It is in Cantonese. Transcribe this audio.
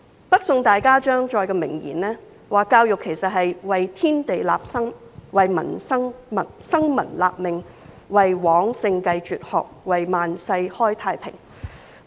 北宋大家張載的名言，說教育是"為天地立心，為生民立命，為往聖繼絕學，為萬世開太平"。